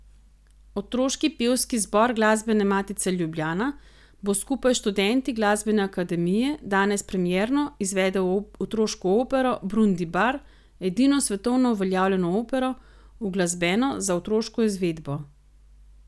Otroški pevski zbor Glasbene matice Ljubljana bo skupaj s študenti glasbene akademije danes premierno izvedel otroško opero Brundibar, edino svetovno uveljavljeno opero, uglasbeno za otroško izvedbo.